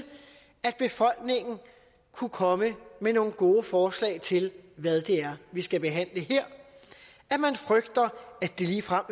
at befolkningen kunne komme med nogle gode forslag til hvad det er vi skal behandle her at man frygter at det ligefrem